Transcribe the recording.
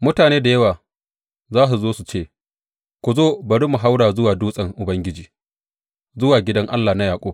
Mutane da yawa za su zo su ce, Ku zo, bari mu haura zuwa dutsen Ubangiji, zuwa gidan Allah na Yaƙub.